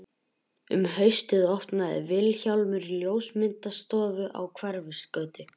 Um haustið opnaði Vilhjálmur ljósmyndastofu á Hverfisgötu.